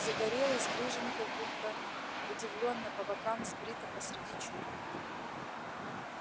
загорелый стриженный как-будто удивительно по бокам сбрито посреди чуб